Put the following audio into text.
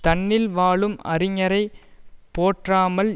தன்னில் வாழும் அறிஞரைப் போற்றாமல்